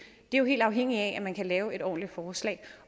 det er jo helt afhængigt af at man kan lave et ordentligt forslag